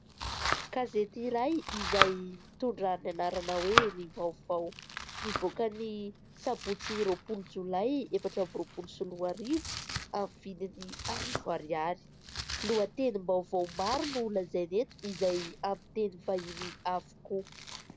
Gazety iray izay mitondra ny anarana hoe : "ny vaovao" nivoaka ny sabotsy roapolo jolay efatra amby roapolo sy roa arivo, amin'ny vidiny arivo ariary. Lohatenim-baovao maro no lazainy eto izay amin'ny teny vahiny avokoa.